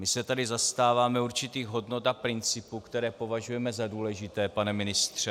My se tady zastáváme určitých hodnot a principů, které považujeme za důležité, pane ministře.